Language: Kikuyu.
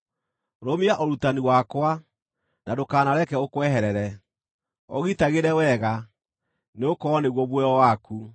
Rũmia ũrutani wakwa, na ndũkanareke ũkweherere; ũgitagĩre wega, nĩgũkorwo nĩguo muoyo waku.